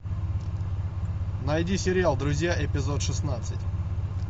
найди сериал друзья эпизод шестнадцать